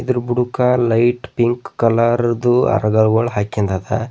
ಇದು ಬುಡುಕ light pink colour ದು ಅರ್ಧಹೋಳ್ ಹಾಕಿಂದದ.